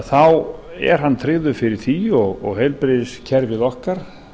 þá er hann tryggður fyrir því og heilbrigðiskerfið okkar